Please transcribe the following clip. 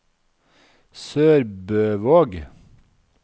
SørbØvåg